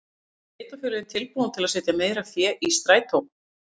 En eru sveitarfélögin tilbúin til að setja meira fé í strætó?